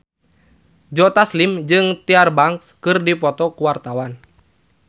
Joe Taslim jeung Tyra Banks keur dipoto ku wartawan